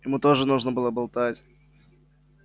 ему тоже нужно было болтать